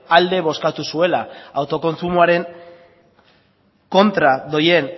alde bozkatu zuela autokontsumoaren kontra doan